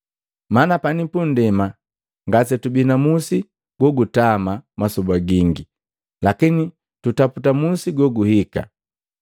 Mana pani pundema ngase tubi na musi gu kutama masoba gingi; lakini tugutaputa musi goguhika.